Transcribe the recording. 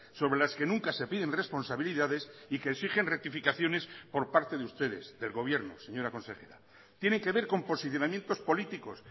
sobre las que nunca se piden responsabilidades y que exigen rectificaciones por parte de ustedes del gobierno señora consejera tiene que ver con posicionamientos políticos